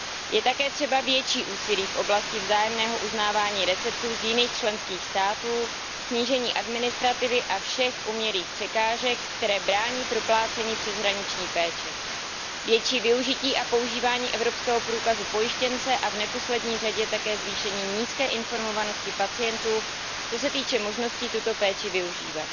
Je také třeba větší úsilí v oblasti vzájemného uznávání receptů z jiných členských států, snížení administrativy a všech umělých překážek, které brání proplácení přeshraniční péče, většího využití a používání evropského průkazu pojištěnce a v neposlední řadě také zvýšení nízké informovanosti pacientů, co se týče možností tuto péči využívat.